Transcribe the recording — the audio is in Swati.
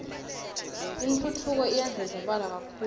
intfutfuko iyandlondlobala kakhulu